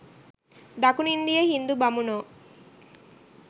දකුනු ඉන්දීය හිංදු බමුණෝ